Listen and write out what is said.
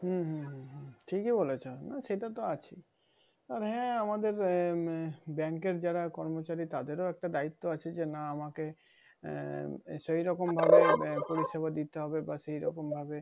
উম ঠিকই বলেছে সেটা তো আছে. আর হ্যাঁ আমাদের আহ bank এর যারা কর্মচারী তাদেরও একটা দায়িত্ব আছে। যে না আমাকে আহ সেই রকম ভাবে আহ পরিসেব দিতে হবে বা সেইরকম ভাবে,